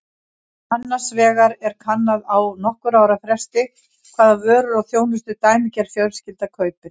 Annars vegar er kannað á nokkurra ára fresti hvaða vörur og þjónustu dæmigerð fjölskylda kaupir.